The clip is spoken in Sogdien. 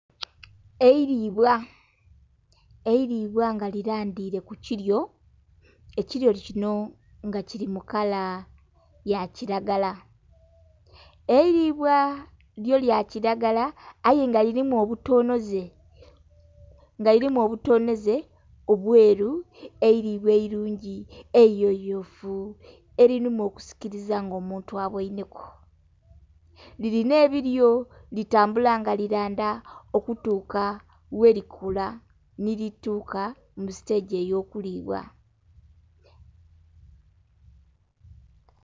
Eiribwa! Eiribwa nga lirandire ku kiryo. Ekiryo kino nga kiri mu kala ya kiragala. Eiribwa lyo lya kiragala aye nga lirimu obutonoze nga lirimu obutonoze obweru, eiribwa eirungi eiyoyofu elirimu okusikiriza nga omuntu abweineku. Lirina ebiryo litambula nga liranda okutuka werikula nilituuka ku sitegi ey'okulibwa.